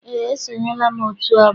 Eé, esonyela m otu ọgbọ.